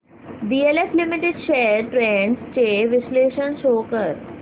DLF limited shares trends चे विश्लेषण show कर